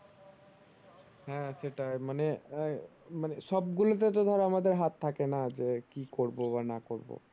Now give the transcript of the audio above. হ্যাঁ সেটাই মানে আহ মানে সব গুলোতে তো ধর আমাদের হাত থাকে না যে কি করবো বা না করবো